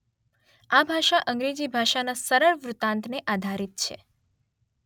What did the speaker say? આ ભાષા અંગ્રેજી ભાષાના સરલ વૃત્તાંતને આધારિત છે.